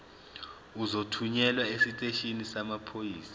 uzothunyelwa esiteshini samaphoyisa